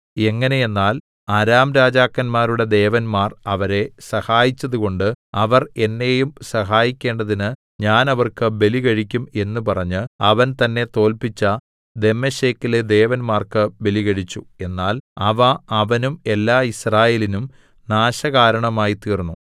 എങ്ങനെയെന്നാൽ അരാം രാജാക്കന്മാരുടെ ദേവന്മാർ അവരെ സഹായിച്ചതുകൊണ്ട് അവർ എന്നെയും സഹായിക്കേണ്ടതിന് ഞാൻ അവർക്ക് ബലികഴിക്കും എന്ന് പറഞ്ഞ് അവൻ തന്നെ തോല്പിച്ച ദമ്മേശെക്കിലെ ദേവന്മാർക്ക് ബലികഴിച്ചു എന്നാൽ അവ അവനും എല്ലാ യിസ്രായേലിനും നാശകാരണമായി തീർന്നു